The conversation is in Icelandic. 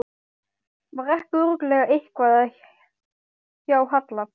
Var ekki örugglega eitthvað að hjá Halla?